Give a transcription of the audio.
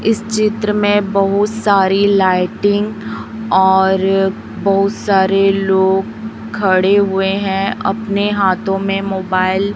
इस चित्र में बहुत सारी लाइटिंग और बहुत सारे लोग खड़े हुए हैं अपने हाथों में मोबाइल --